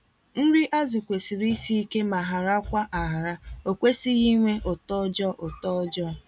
Nri azụ kwesịrị isi ike ma harakwa-ahara- okwesịghị ịnwe ụtọ ọjọọ. ụtọ ọjọọ.